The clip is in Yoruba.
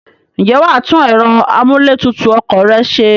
Ǹjẹ́ wà á tún ẹ̀rọ amúlé tutù ọkọ̀ rẹ se?